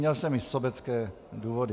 Měl jsem i sobecké důvody.